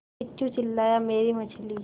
किच्चू चिल्लाया मेरी मछली